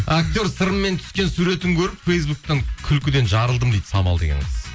актер сырыммен түскен суретін көріп фейсбуктан күлкіден жарылдым дейді самал деген қыз